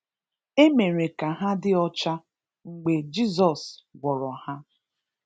E mere ka ha dị ọcha mgbe Jizọs gwọrọ ha.